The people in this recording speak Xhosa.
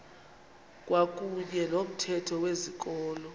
kwakuyne nomthetho wezikolo